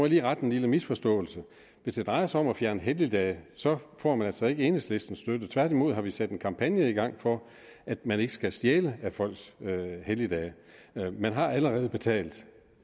lige rette en lille misforståelse hvis det drejer sig om at fjerne helligdagene så får man altså ikke enhedslistens støtte tværtimod sat en kampagne i gang for at man ikke skal stjæle af folks helligdage man har allerede betalt